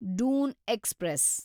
Doon express